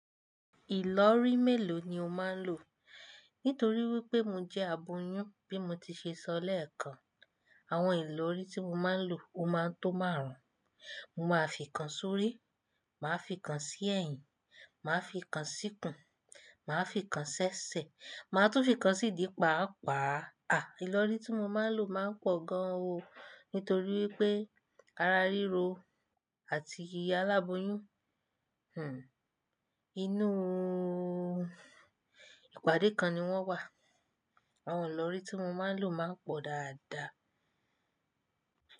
Ìlọrí mélòó ni o máa ń lò? Nítorí wípé mo jẹ́ aboyún bí mo ti ṣe sọ lẹ́ẹ̀kan, àwọn ìlọrí tí mo máa ń lò ó máa tó márùn-ún. Mo máa fi kan sórí, màá fi kan sí ẹ̀yìn, màá fi kan sí kùn, màá fi kan ṣẹ́ṣẹ́, màá tún fi kan sí idí pàápàá. À, ìlọrí tí mo máa ń lò o máa ń pọ̀ gan an o nítorí wípé ara ríro àti iya aláboyún, inúùù ìpàdé kan ni wọ́n wà. Àwọn ìlọrí tí mo máa ń lò máa ń pọ̀ dáadáa.